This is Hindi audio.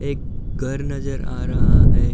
एक घर नज़र आ रहा है।